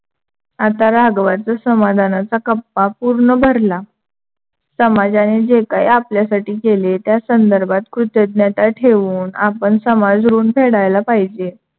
आता राघवाचा समाधानाचा कप्पा पूर्ण भरला. समाजाने जे काही आपल्यासाठी केले त्यासंधर्भात कृतज्ञता ठेवून आपण समाज ऋण फेडायला पाहिजे.